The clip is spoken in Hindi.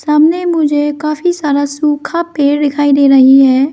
सामने मुझे काफी सारा सूखा पेड़ दिखाई दे रही है।